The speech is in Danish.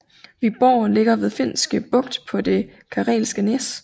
Vyborg ligger ved Finske Bugt på det Karelske næs